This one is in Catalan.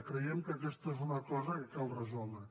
creiem que aquesta és una cosa que cal resoldre